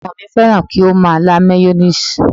Ọmọ mi fẹ́ràn kí ó máa lá mayoníìsì